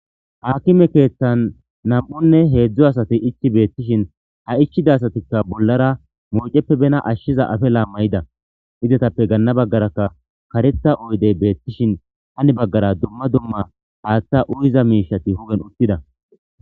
haakkime keethtan nam7unne heedzdzo asati ichi beettishin ha ichida asatikka bollara mooceppe bena ashshiza afe laammayida izatappe ganna baggarakka kareta oydey beettishin hani baggara dumma dumma haaththa uyiza miishati hugen uttida